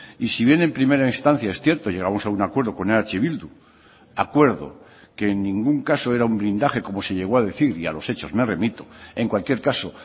y si bien en primera instancia es cierto llegamos a un acuerdo con eh bildu acuerdo que en ningún caso era un blindaje como se llegó a decir y a los hechos me remito en cualquier caso